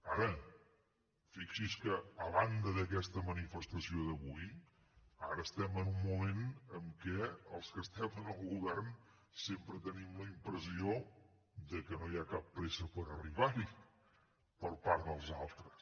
ara fixi’s que a banda d’aquesta manifestació d’avui ara estem en un moment en què els que estem en el govern sempre tenim la impressió que no hi ha cap pressa per arribar hi per part dels altres